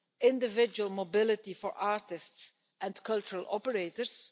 individual mobility for artists and cultural operators